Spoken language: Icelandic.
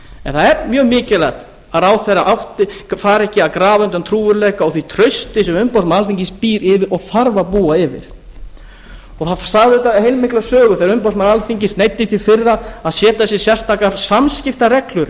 en það er mjög mikilvægt að ráðherra fari ekki að grafa undan trúverðugleika og því trausti sem umboðsmaður alþingis býr yfir og þarf að búa yfir það sagði auðvitað heilmikla sögu þegar umboðsmaður alþingis neyddist í fyrra til að setja sér sérstakar samskiptareglur í